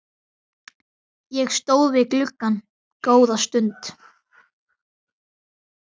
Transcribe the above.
Ég stóð við gluggann góða stund.